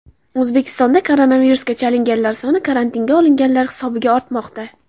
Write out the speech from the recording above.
O‘zbekistonda koronavirusga chalinganlar soni karantinga olinganlar hisobiga ortmoqda.